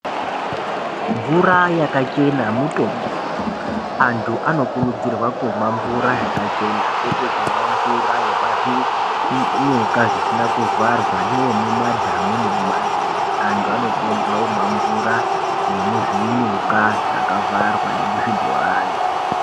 Mvura yaka chena mutombo antu ano kurudzirwa kumwa mvura yakachena kwete kumwa mvura yepa zvinyuka zvisina kuvharwa neye mu madhamu ne muma nzizi antu ano kurudzirwa kumwa mvura ye muzvinyuka zvaka vharwa ne muzvi bhorani.